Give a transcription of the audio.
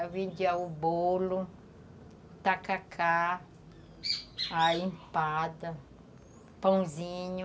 Eu vendia o bolo, tacacá, a empada, pãozinho,